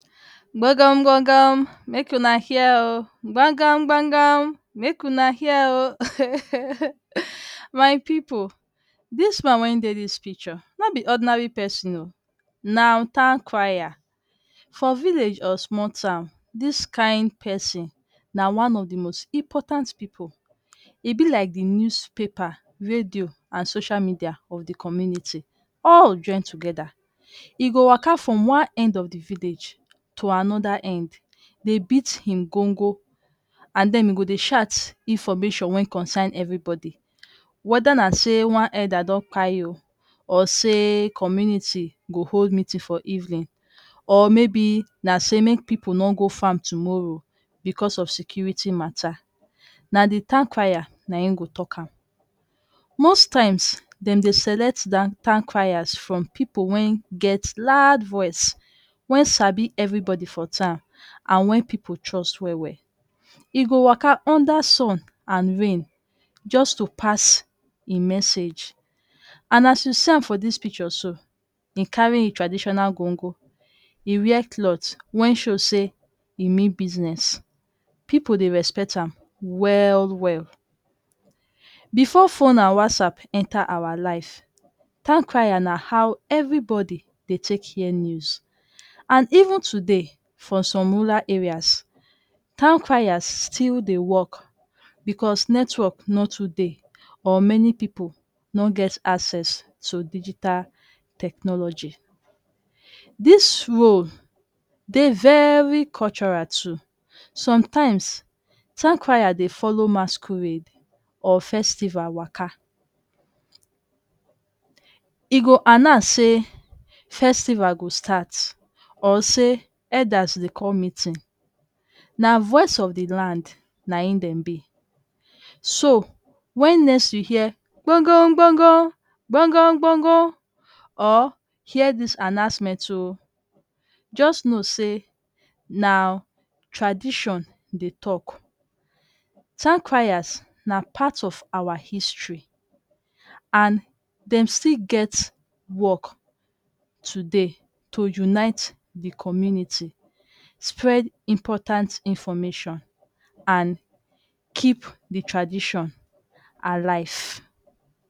Gbagam gbagam make una hear um, gbagam gbagam um my pipu, dis man wen dey dis picture, no be ordinary pesin um. Na town crier. For village or sumol town. This kain pesin na one of di most important pipu. E be like di newspaper, radio and sosha media of di community all join togeda. E go waka from one end of di village to anoda end dey beat him go-ngo and den e go dey shout information wen concern evribodi. Whether na say one elder don kpai um or say community go hold meeting for evening, or maybe na say make pipu no go farm tomorrow becos of security matter, na di town crier na im go tok am. Most times dem dey select town criers from pipu wen get loud voice wem sabi evribodi for town and wen pipu trust well well. E go waka under sun and rain just to pass im message and as you see am for dis picture so, im carry im traditional go-ngo. E wear clot wen show say e mean business. Pipu dey respect am well well. Before fone and Whatsapp enta awa life, town crier na how evribodi dey take hear news. And even today for some rural areas, town crier still dey work becos network no too dey or many pipu no get access to digital technology. Dis role dey very cultural too. Sometimes, town crier dey follow masquerade for festival waka. E go announce say festival go start, or say elders dey come meeting. Na voice of di land na im dem be. So wen next you hear, gbongom gbongom or hear dis announcement too, just know say na tradition dey tok. Town criers na part of awa history and dem still get work today to unite di community, spread important information and keep di tradition alive.